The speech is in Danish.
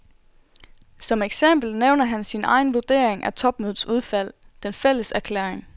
Som eksempel nævner han sin egen vurdering af topmødets udfald, den fælles erklæring.